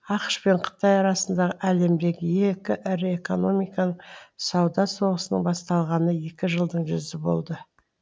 ақш пен қытай арасындағы әлемдегі екі ірі экономиканың сауда соғысының басталғанына екі жылдың жүзі болды